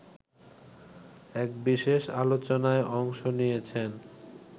এক বিশেষ আলোচনায় অংশ নিয়েছেন